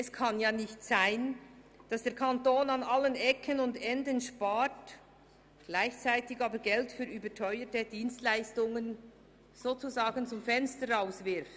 Es kann nämlich nicht sein, dass der Kanton überall spart und gleichzeitig Geld für überteuerte Dienstleistungen zum Fenster hinauswirft.